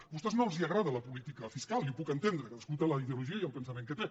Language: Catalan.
a vostès no els agrada la política fiscal i ho puc entendre cadascú té la ideologia i el pensament que té